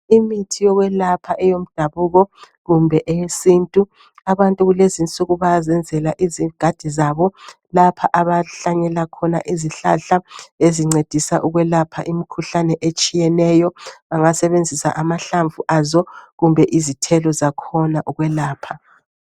Imithi yokwelapha eyomdabuko, kumbe eyesintu. Abantu kulezi insuku, bayazenzela izigadi zabo. Lapha abahlanyela khona izihlahla, ezincedisa ukwelapha, imikhuhlane etshiyeneyo. Bangasebenzisa amahlamvu azo, kumbe uzithelo zakhona ukwelapha.